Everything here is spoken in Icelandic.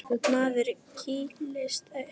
Maður kýlist upp.